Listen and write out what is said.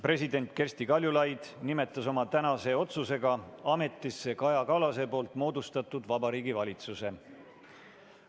President Kersti Kaljulaid nimetas oma tänase otsusega ametisse Kaja Kallase moodustatud Vabariigi Valitsuse.